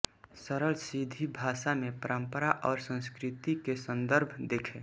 सरल सीधी भाषा में परम्परा और संस्कृति के सन्दर्भ देखें